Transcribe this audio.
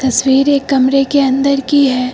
तस्वीर एक कमरे के अंदर की है।